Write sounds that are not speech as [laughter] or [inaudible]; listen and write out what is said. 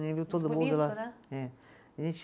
[unintelligible] todo mundo lá. [unintelligible] a gente